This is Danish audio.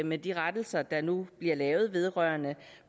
med de rettelser der nu bliver lavet vedrørende